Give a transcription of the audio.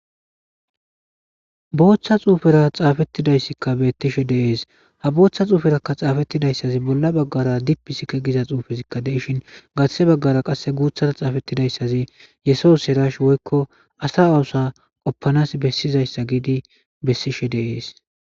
Botha xuufera xaafettidayssikka bettishe dees ha booththa xuuferakka xaafettidayssazi bolla baggara dipisike giza xuufezikka deishin gathe baggara qasse guuthara xaafettidayssazi yesoos herash woyiko asa oosa qoppanas bessizayssa giidi bessishe dees